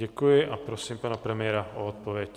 Děkuji a prosím pana premiéra o odpověď.